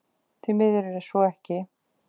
Því miður er svo ekki